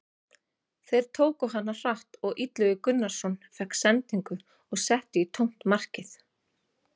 Þeir tóku hana hratt og Illugi Gunnarsson fékk sendingu og setti í tómt markið.